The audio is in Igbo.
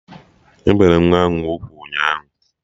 E bere nwa ahụ ugwu ụnyaahụ